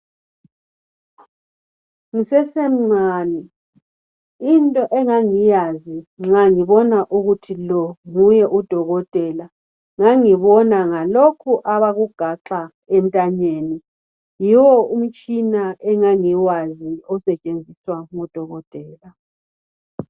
Ngisese mncane into engangiyazi ukuthi lo ngudokotela ngangibona ngalokhu abakugaxa entanyeni, yiwo umtshina engangiwazi osetshenziswa ngodokotela.